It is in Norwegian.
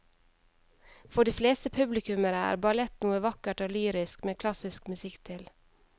For de fleste publikummere er ballett noe vakkert og lyrisk med klassisk musikk til.